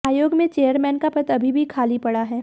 आयोग में चेयरमैन का पद अभी भी खाली पड़ा है